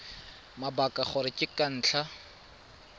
mabaka gore ke ka ntlha